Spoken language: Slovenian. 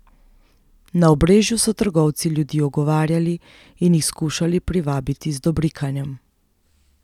Na Obrežju so trgovci ljudi ogovarjali in jih skušali privabiti z dobrikanjem.